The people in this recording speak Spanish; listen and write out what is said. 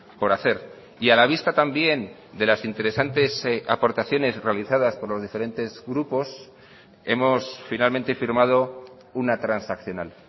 por hacer y a la vista también de las interesantes aportaciones realizadas por los diferentes grupos hemos finalmente firmado una transaccional